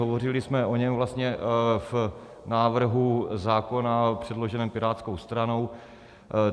Hovořili jsme o něm vlastně v návrhu zákona předloženém Pirátskou stranou.